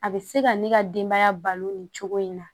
A bɛ se ka ne ka denbaya balo nin cogo in na